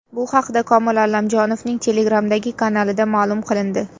Bu haqda Komil Allamjonovning Telegram’dagi kanalida ma’lum qilindi .